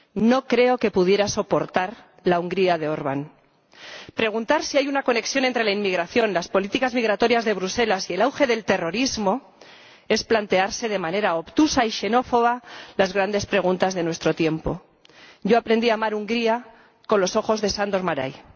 No creo que pudiera soportar la Hungría de Orbán. Preguntar si hay una conexión entre la inmigración, las políticas migratorias de Bruselas y el auge del terrorismo es plantearse de manera obtusa y xenófoba las grandes preguntas de nuestro tiempo. Yo aprendí a amar Hungría con los ojos de Sándor Márai.